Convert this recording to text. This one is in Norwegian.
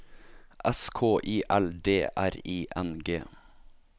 S K I L D R I N G